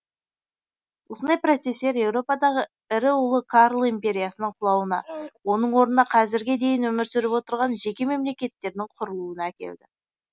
осындай процестер еуропадағы ірі ұлы карл империясының құлауына оның орнына қазірге дейін өмір сүріп отырған жеке мемлекеттердің құрылуына әкелді